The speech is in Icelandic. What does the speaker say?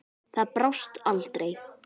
Það brást aldrei.